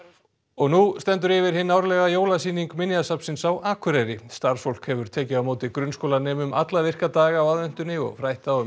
nú stendur yfir hin árlega jólasýning Minjasafnsins á Akureyri starfsfólk hefur tekið á móti grunnskólanemum alla virka daga á aðventunni og frætt þá um